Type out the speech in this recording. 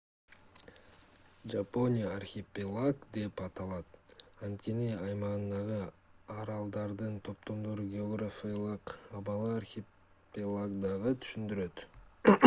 жапония архипелаг деп аталат анткени аймагындагы аралдардын/топтордун географиялык абалы архипелагды түшүндүрөт